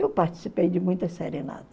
Eu participei de muita serenata.